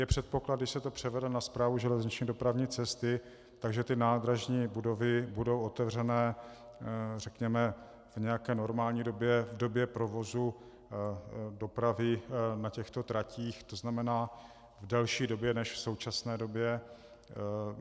Je předpoklad, když se to převede na Správu železniční dopravní cesty, že ty nádražní budovy budou otevřené řekněme v nějaké normální době, v době provozu dopravy na těchto tratích, to znamená v delší době než v současné době?